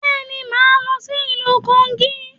Bẹ́ẹ̀ni, màá lọ sí ìlú Kogí